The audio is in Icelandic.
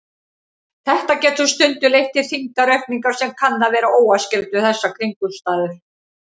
Þetta getur stundum leitt til þyngdaraukningar sem kann að vera óæskileg við þessar kringumstæður.